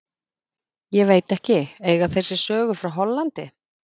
Ég veit ekki, eiga þeir sér sögu frá Hollandi?